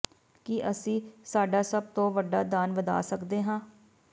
ਕਿ ਅਸੀਂ ਸਾਡਾ ਸਭ ਤੋਂ ਵੱਡਾ ਦਾਨ ਵਧਾ ਸਕਦੇ ਹਾਂ